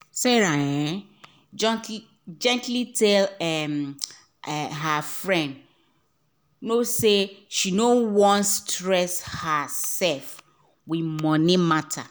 sarah um gently tell um her um friend no say she no wan stress her sef with money matter